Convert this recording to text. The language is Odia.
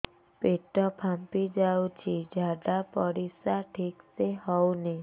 ପେଟ ଫାମ୍ପି ଯାଉଛି ଝାଡ଼ା ପରିସ୍ରା ଠିକ ସେ ହଉନି